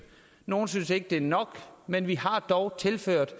nogle synes ikke det er nok men vi har dog tilført